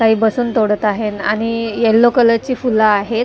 काही बसून तोडत आहेत आणि येलो कलरची फुलं आहेत ते--